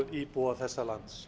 íbúa þessa lands